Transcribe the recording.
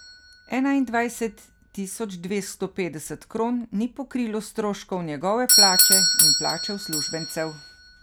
Enaindvajset tisoč dvesto petdeset kron ni pokrilo stroškov njegove plače in plače uslužbencev.